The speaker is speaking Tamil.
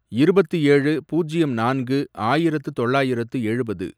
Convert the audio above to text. இருபத்து ஏழு, பூஜ்யம் நான்கு, ஆயிரத்து தொள்ளாயிரத்து எழுபது